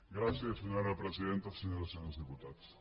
gràcies senyora presidenta senyores senyors diputats